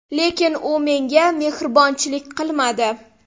Lekin u menga mehribonchilik qilmadi.